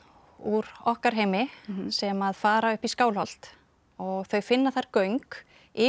úr okkar heimi sem fara upp í Skálholt og þau finna þar göng yfir